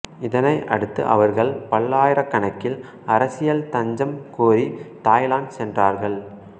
இதனை அடுத்து அவர்கள் பல்லாயிரக்கணக்கில் அரசியல் தஞ்சம் கோரி தாய்லாந்து சென்றார்கள்